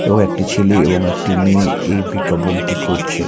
এবং একটি ছেলে এবং একটি মেয়ে এই বিজ্ঞাপনটি করছে।